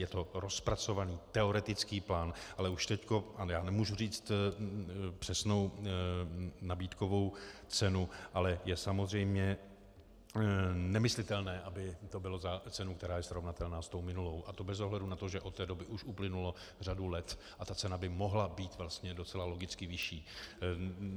Je to rozpracovaný teoretický plán, ale už teď - já nemůžu říci přesnou nabídkovou cenu, ale je samozřejmě nemyslitelné, aby to bylo za cenu, která je srovnatelná s tou minulou, a to bez ohledu na to, že od té doby už uplynula řada let a ta cena by mohla být vlastně docela logicky vyšší.